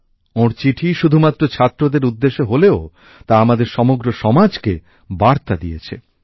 ওঁর চিঠি শুধুমাত্র ছাত্রদের উদ্দেশে হলেও তা আমাদের সমগ্র সমাজকে বার্তা দিয়েছে